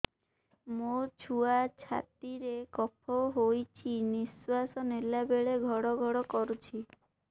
ମୋ ଛୁଆ ଛାତି ରେ କଫ ହୋଇଛି ନିଶ୍ୱାସ ନେଲା ବେଳେ ଘଡ ଘଡ କରୁଛି